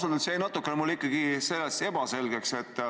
Ausalt öeldes jäi mulle asi natuke ebaselgeks.